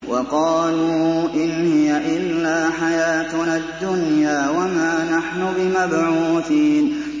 وَقَالُوا إِنْ هِيَ إِلَّا حَيَاتُنَا الدُّنْيَا وَمَا نَحْنُ بِمَبْعُوثِينَ